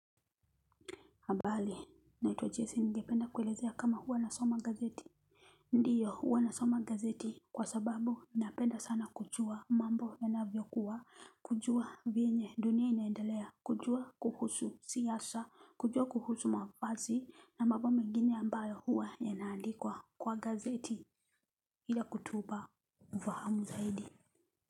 Ambali naiwa Jese ningependa kuelezea kama huwa na soma gazeti. Ndiyo huwa nasoma gazeti. Kwa sababu napenda sana kujua mambo ya na vyokuwa kujua vyenye dunia inaendelea kujua kuhusu siasa kujua kuhusu mavazi na mabo mengine ambayo huwa ya naandikwa kwa gazeti ila kutuba uvahamu zaidi.